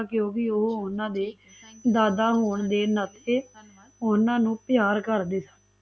ਕਿਉਕਿ ਓਹ ਓਹਨਾ ਦੇ ਦਾਦਾ ਹੋਣ ਦੇ ਨਾਤੇ ਓਹਨਾ ਨੂ ਪਿਆਰ ਕਰਦੇ ਸਨ